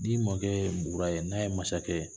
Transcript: N'i mɔkɛ bugu ye bougoura ye n'a ye masakɛ ye